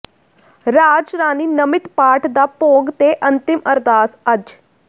ਰਾਜ ਰਾਣੀ ਨਮਿਤ ਪਾਠ ਦਾ ਭੋਗ ਤੇ ਅੰਤਿਮ ਅਰਦਾਸ ਅੱਜ